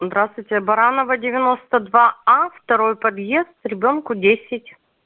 здравствуйте а баранова девяносто два а второй подъезд ребёнку десять